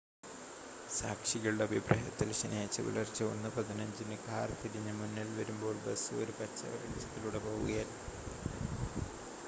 സാക്ഷികളുടെ അഭിപ്രായത്തിൽ ശനിയാഴ്ച പുലർച്ചെ 1 15 ന് കാർ തിരിഞ്ഞ് മുന്നിൽ വരുമ്പോൾ ബസ് ഒരു പച്ച വെളിച്ചത്തിലൂടെ പോവുകയായിരുന്നു